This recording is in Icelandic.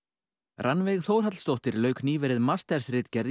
Rannveig Þórhallsdóttir lauk nýverið mastersritgerð í